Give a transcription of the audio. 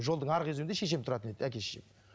жолдың арғы өзегінде шешем тұратын дейді әке шешем